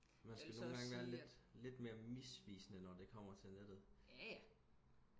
man skal nogengange være lidt lidt mere misvisende når det kommer til nettet